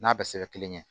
N'a bɛ se ka kelen ɲɛ